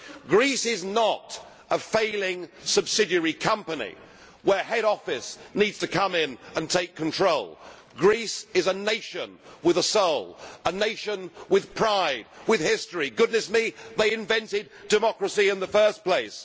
Greece is not a failing subsidiary company where head office needs to come in and take control. Greece is a nation with a soul, a nation with pride, with history goodness me, they invented democracy in the first place.